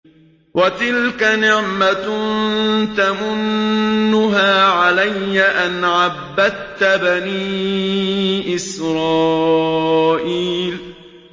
وَتِلْكَ نِعْمَةٌ تَمُنُّهَا عَلَيَّ أَنْ عَبَّدتَّ بَنِي إِسْرَائِيلَ